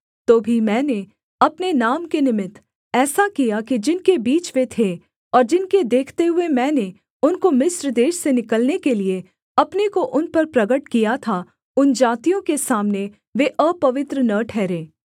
तो भी मैंने अपने नाम के निमित्त ऐसा किया कि जिनके बीच वे थे और जिनके देखते हुए मैंने उनको मिस्र देश से निकलने के लिये अपने को उन पर प्रगट किया था उन जातियों के सामने वे अपवित्र न ठहरे